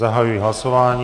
Zahajuji hlasování.